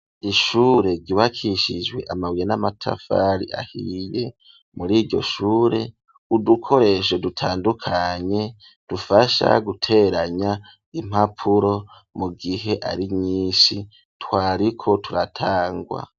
Ishure ryubakishijwe amabuye n'amatafari ahiye muriryo shure udukoresho dutandukanye dufasha guteranya impapuro mu gihe ari nyishi twariko turatangwa.